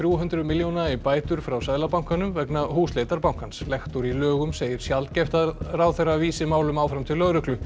hundruð milljóna í bætur frá Seðlabankanum vegna húsleitar bankans lektor í lögum segir sjaldgæft að ráðherra vísi málum áfram til lögreglu